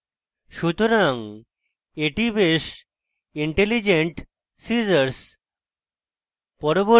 সুতরাং এটি বেশ intelligent scissors